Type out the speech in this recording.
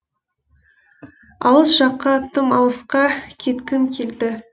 алыс жаққа тым алысқа кеткім келді